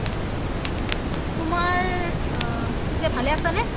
ও তুমাৰ অ পিচে ভালে আছা নে?